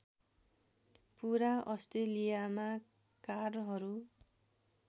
पूरा अस्ट्रेलियामा कारहरू